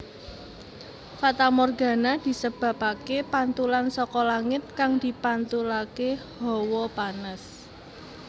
Fatamorgana disebabaké pantulan saka langit kang dipantulaké hawa panas